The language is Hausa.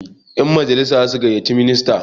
yanmajalisa za su gaiyyaci minista